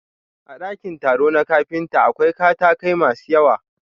A ɗakin taro na kafinta, akwai katakai masu yawa.